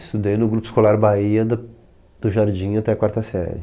Estudei no Grupo Escolar Bahia, do do Jardim até a quarta série.